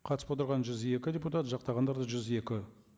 қатысып отырған жүз екі депутат жақтағандар да жүз екі